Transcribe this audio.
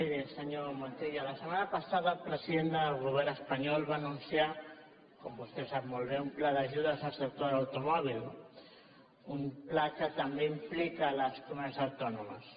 miri senyor montilla la set·mana passada el president del govern espanyol va anun·ciar com vostè sap molt bé un pla d’ajudes al sector de l’automòbil un pla que també implica les comunitats autònomes